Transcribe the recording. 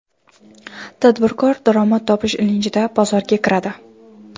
Tadbirkor daromad topish ilinjida bozorga kiradi.